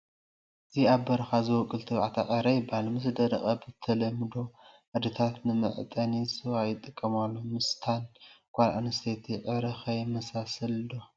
እዚ ኣብ በረኻ ዝቦቁል ተባዕታይ ዕረ ይባሃል፡፡ ምስ ደረቐ ብተለምዶ ኣዴታት ንመዕጠኒ ስዋ ይጥቀማሉ፡፡ ምስታ ጓል ኣነስተይቲ ዕረ ኸ ይመሳሰል ዶ?